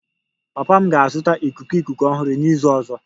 Papa m ga-azụta ikuku ikuku ọhụrụ n'izu ọzọ